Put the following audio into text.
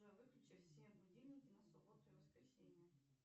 джой выключи все будильники на субботу и воскресенье